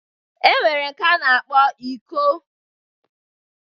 E nwere nke a na-akpọ iko